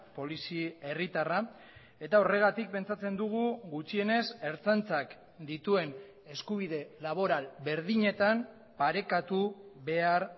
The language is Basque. polizi herritarra eta horregatik pentsatzen dugu gutxienez ertzaintzak dituen eskubide laboral berdinetan parekatu behar